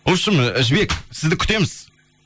вообщем жібек сізді күтеміз